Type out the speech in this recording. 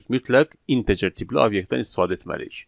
Mütləq integer tipli obyektdən istifadə etməliyik.